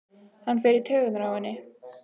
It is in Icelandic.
Hann fer í taugarnar á henni.